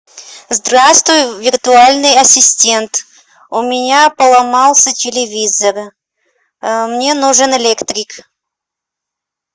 здравствуй виртуальный ассистент у меня поломался телевизор мне нужен электрик